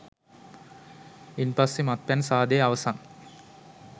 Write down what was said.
ඉන්පස්සේ මත්පැන් සාදය අවසන්